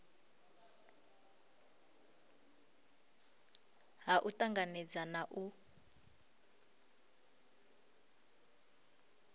ha u tanganedza na u